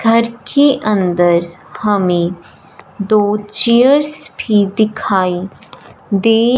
घर के अंदर हमें दो चेयर्स भी दिखाई दे--